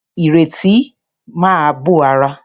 Ìrètí máa bó ara.